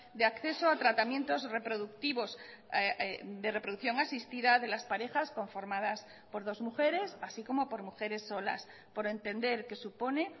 de acceso a tratamientos reproductivos de reproducción asistida de las parejas conformadas por dos mujeres así como por mujeres solas por entender que supone